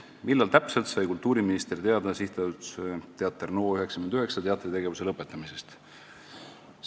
"Millal täpselt sai kultuuriminister teada SA Teater NO99 teatritegevuse lõpetamisest?